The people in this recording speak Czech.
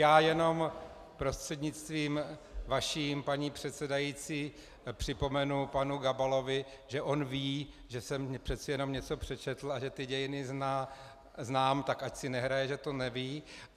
Já jenom prostřednictvím vaším, paní předsedající, připomenu panu Gabalovi, že on ví, že jsem přece jenom něco přečetl a že ty dějiny znám, tak ať si nehraje, že to neví.